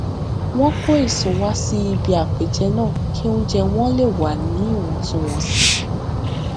wón kó èso wá sí ibi àpèjẹ náà kí oúnjẹ wọn lè wà ní ìwọntúnwọnsì